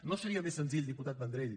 no seria més senzill diputat vendrell